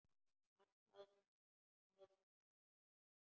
Hann faðmar mig.